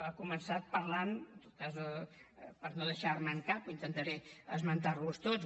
ha començat parlant en tot cas per no deixar me’n cap intentaré esmentar los tots